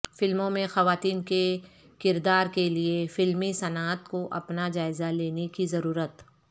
فلموں میں خواتین کے کردار کیلئے فلمی صنعت کو اپنا جائزہ لینے کی ضرورت